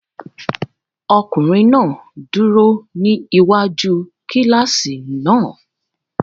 Ọkunrin náà duro ni iwaju kilasi náà